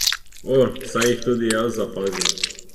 O, saj jih tudi jaz zapazim.